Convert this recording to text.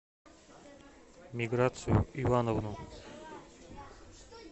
миграцию ивановну